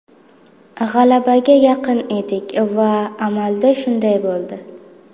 G‘alabaga yaqin edik va amalda shunday bo‘ldi.